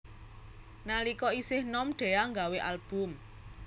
Nalika isih nom Dhea nggawé album